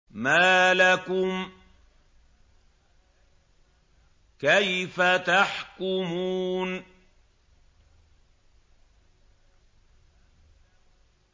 مَا لَكُمْ كَيْفَ تَحْكُمُونَ